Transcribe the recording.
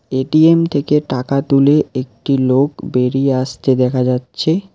ATM থেকে টাকা তুলে একটি লোক বেরিয়ে আসতে দেখা যাচ্ছে।